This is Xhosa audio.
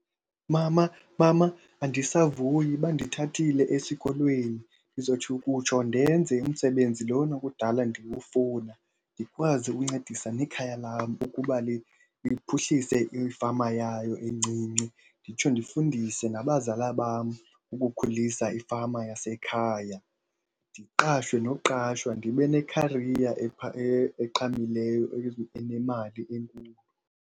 Mama, mama, andisavuyi bandithathile esikolweni. Ndizotsho ukutsho ndenze umsebenzi lona kudala ndiwufuna, ndikwazi ukuncedisa nekhaya lam ukuba liphuhlise ifama yayo encinci. Nditsho ndifundise nabazala bam ukukhulisa ifama yasekhaya. Ndiqashwe noqashwa ndibe nekhariya eqhamileyo enemali enkulu.